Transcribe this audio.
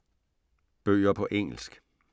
Bøger på engelsk